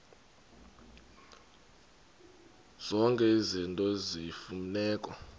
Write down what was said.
zonke izinto eziyimfuneko